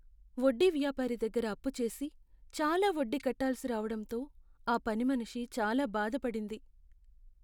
వడ్డీ వ్యాపారి దగ్గర అప్పు చేసి, చాలా వడ్డీ కట్టాల్సి రావడంతో ఆ పనిమనిషి చాలా బాధపడింది.